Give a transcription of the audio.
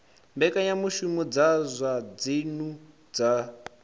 mbekanyamushumo dza zwa dzinnu dza